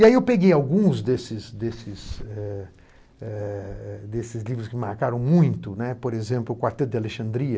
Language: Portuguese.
E aí eu peguei alguns desses desses eh eh eh desses livros que me marcaram muito, por exemplo, O Quarteto de Alexandria,